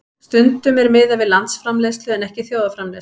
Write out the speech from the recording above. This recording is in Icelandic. Stundum er miðað við landsframleiðslu en ekki þjóðarframleiðslu.